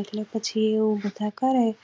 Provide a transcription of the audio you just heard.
એટલે પછી બધાં એવું કરેં